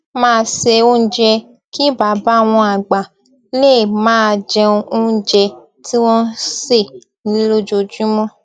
máa se oúnjẹ kí bàbá wọn àgbà lè máa jẹ oúnjẹ tí wón sè nílé lójoojúmó